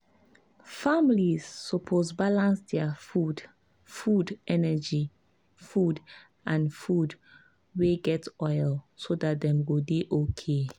families suppose balance their food food energy food and food wey get oil so dat dem go dey okay.